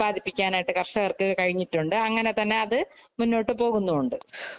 ഉത്പാദിപ്പിക്കാനായിട്ടു കര്‍ഷകര്‍ക്ക് കഴിഞ്ഞിട്ടുണ്ട്.അങ്ങനെ തന്നെ അത് മുന്നോട്ടു പോകുന്നുമുണ്ട്.